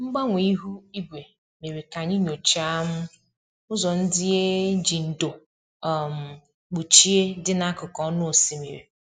Mgbanwe ihu igwe mere ka anyị nyochaa um ụzọ ndị e um ji ndo um kpuchie dị n'akụkụ ọnụ osimiri